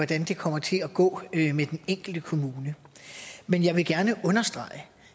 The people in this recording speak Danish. det kommer til at gå med den enkelte kommune men jeg vil gerne understrege at